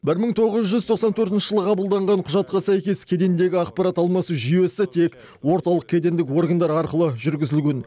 бір мың тоғыз жүз тоқсан төртінші жылы қабылданған құжатқа сәйкес кедендегі ақпарат алмасу жүйесі тек орталық кедендік органдар арқылы жүргізілген